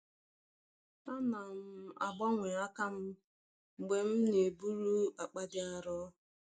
Ana m agbanwe aka m mgbe m na-eburu akpa dị arọ.